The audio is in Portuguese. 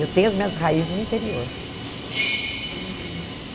Eu tenho as minhas raízes no interior. E